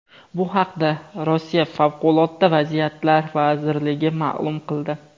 Bu haqda Rossiya Favqulodda vaziyatlar vazirligi ma’lum qildi .